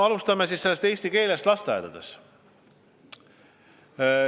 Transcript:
Alustame siis eesti keelest lasteaedades.